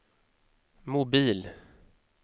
mobil